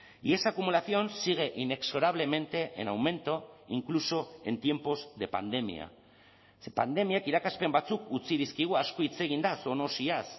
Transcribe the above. y esa acumulación sigue inexorablemente en aumento incluso en tiempos de pandemia ze pandemiak irakaspen batzuk utzi dizkigu asko hitz egin da zoonosiaz